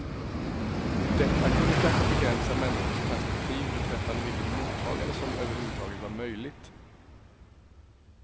Detta kunde kanske begränsa människors perspektiv beträffande vilket mottagande som överhuvudtaget var möjligt.